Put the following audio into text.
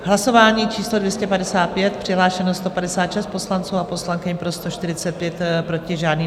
Hlasování číslo 255, přihlášeno 156 poslanců a poslankyň, pro 145, proti žádný.